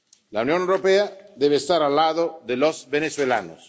La Unión Europea debe estar al lado de los venezolanos.